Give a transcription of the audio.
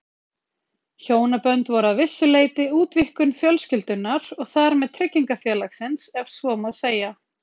Hjónabönd voru að vissu leyti útvíkkun fjölskyldunnar og þar með tryggingafélagsins ef svo má segja.